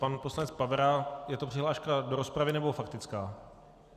Pan poslanec Pavera - je to přihláška do rozpravy, nebo faktická?